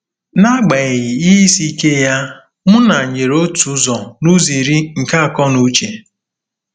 N'agbanyeghị ihe isi ike ya, Muna nyere otu ụzọ n'ụzọ iri nke akọ na uche.